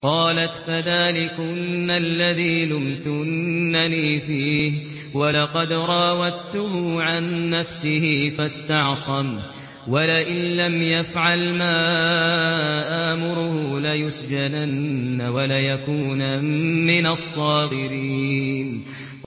قَالَتْ فَذَٰلِكُنَّ الَّذِي لُمْتُنَّنِي فِيهِ ۖ وَلَقَدْ رَاوَدتُّهُ عَن نَّفْسِهِ فَاسْتَعْصَمَ ۖ وَلَئِن لَّمْ يَفْعَلْ مَا آمُرُهُ لَيُسْجَنَنَّ وَلَيَكُونًا مِّنَ الصَّاغِرِينَ